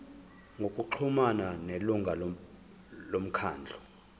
ngokuxhumana nelungu lomkhandlu